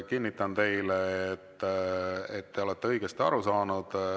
Kinnitan teile, et te olete õigesti aru saanud.